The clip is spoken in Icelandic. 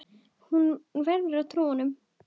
Hún verður að trúa honum.